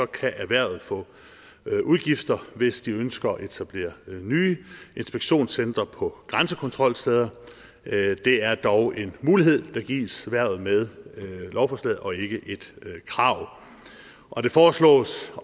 kan erhvervet få udgifter hvis de ønsker at etablere nye inspektionscentre på grænsekontrolsteder det er dog en mulighed der gives erhvervet med lovforslaget og ikke et krav og det foreslås